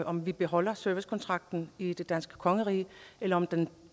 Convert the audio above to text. om vi beholder servicekontrakten i det danske kongerige eller om den